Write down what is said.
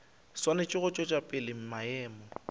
swanetše go tšwetša pele maemo